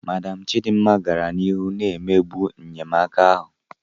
Madam Chidima gara n'ihu na-emegbu enyemaka ahụ